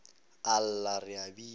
a lla re a bina